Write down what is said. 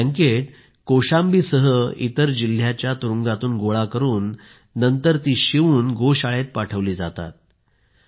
हे ब्लँकेट कौशांबीसह इतर जिल्ह्यांच्या तुरूंगातून गोळा करून नंतर ते शिवून गोशाळेत पाठवले जातात